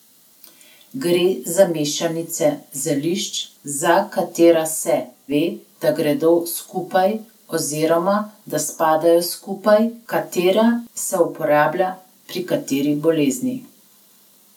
Gre za mešanice zelišč, za katera se ve, da gredo dobro skupaj oziroma da spadajo skupaj, katera se uporablja pri kateri bolezni.